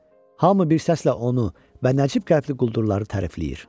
Hamı bir səslə onu və nəcib qəlbli quldurları tərifləyir.